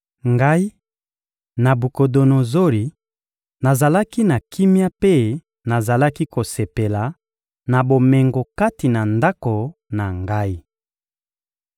Ngai, Nabukodonozori, nazalaki na kimia mpe nazalaki kosepela na bomengo kati na ndako na ngai.